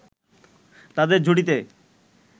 তাদের জুটিতে